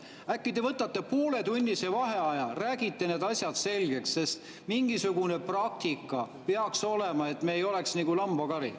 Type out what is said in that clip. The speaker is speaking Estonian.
Äkki te võtate pooletunnise vaheaja, räägite need asjad selgeks, sest mingisugune praktika peaks olema, et me ei oleks nagu lambakari.